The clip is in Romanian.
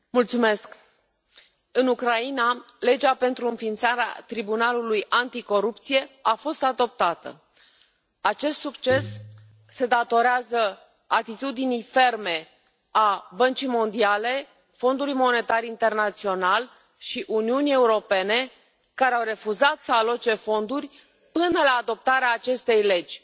Domnule președinte, în Ucraina, legea pentru înființarea tribunalului anticorupție a fost adoptată. Acest succes se datorează atitudinii ferme a Băncii Mondiale, a Fondului Monetar Internațional și a Uniunii Europene, care au refuzat să aloce fonduri până la adoptarea acestei legi